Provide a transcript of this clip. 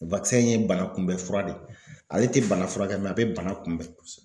in ye bana kunbɛ fura de ye. Ale te bana furakɛ a be bana kunbɛn.